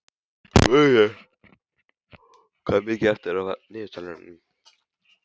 Vörður, hvað er mikið eftir af niðurteljaranum?